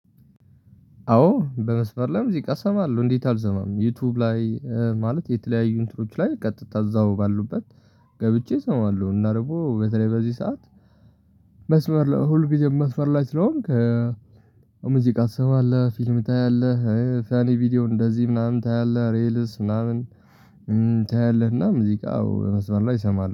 አዎ በመስመር ላይ ሙዚቃ ሰማለው እንዴት አልሰማም ዩቲዩብ ላይ ማለት የተለያዩ እንትኖች ላይ ቀጥታ እዛው ባሉበት። ገብቼ እሰማለሁ እና ደግሞ በተለይ በዚህ ሰዓት መስመር ሁልጊዜም መስመር ላይ ስለሆንክ። ሙዚቃ ትሰማለህ ፊልም ታያለህ ፊያኔ ቪዲዮ እንደዚህ ምናምን ታያለህ ሬልስ ምናምን። ታያለህ እና ሙዚቃው በመስመር ላይ እሰማለሁ